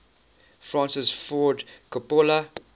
francis ford coppola